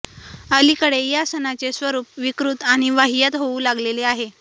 अलीकडे या सणाचे स्वरूप विकृत आणि वाह्यात होऊ लागलेले आहे